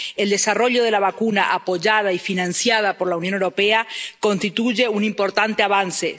El desarrollo de la vacuna, apoyada y financiada por la Unión Europea, constituye un importante avance.